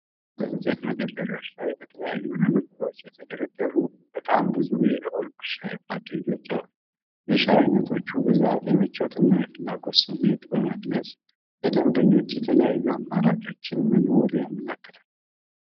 በእንጨት መደርደሪያዎች ላይ በተለያዩ ንብርብሮች የተደረደሩ በጣም ብዙ የኦልኮ የሻይ ፓኬጆች አሉ። የሻይ ዓይነቶች ብዛት የምቾትንና የፍላጎትን ስሜት በመግለጽ ለደንበኞች የተለያዩ አማራጮችን መኖሩን ያመለክታል።